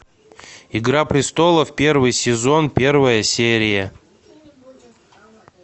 игра престолов первый сезон первая серия